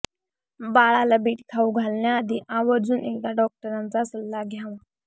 बाळाला बीट खाऊ घालण्याआधी आवर्जून एकदा डॉक्टरांचा सल्ला घ्यावा